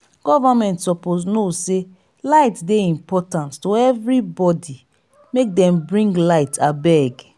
government suppose know sey light dey important to everybodi make dem bring light abeg.